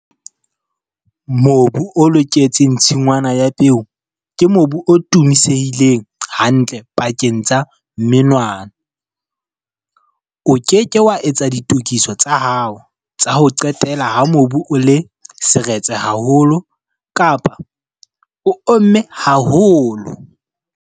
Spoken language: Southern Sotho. Mobu o loketseng tshingwana ya peo ke mobu o thumisehileng hantle pakeng tsa menwana. O ke ke wa etsa ditokiso tsa hao tsa ho qetela ha mobu o le seretse haholo kapa o omme haholo!